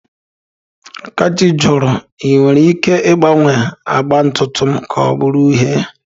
Akachi jụrụ, 'Ị nwere ike ịgbanwe agba ntutu m ka ọ bụrụ uhie?'